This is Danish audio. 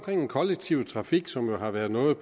den kollektive trafik som jo har været noget